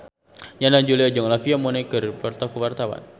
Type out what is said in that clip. Yana Julio jeung Olivia Munn keur dipoto ku wartawan